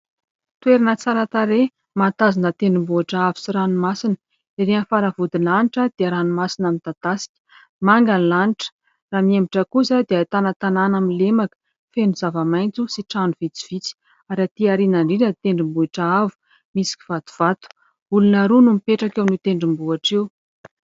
Toerana tsara tarehy, mahatazana tendrombohitra avo sy ranomasina. Erỳ amin'ny faravodilanitra dia ranomasina midadasika, manga ny lanitra. Raha mihemotra kosa dia ahitana tanàna amin'ny lemaka, feno zavamaitso sy trano vitsivitsy. Ary atỳ aoriana indrindra ny tendrombohitra avo misy kivatovato, olona roa no mipetraka eo amin'io tendrombohitra io.